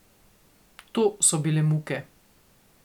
To so bile muke.